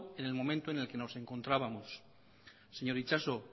en el momento en el que nos encontrábamos señor itxaso